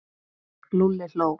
Lúlli hló.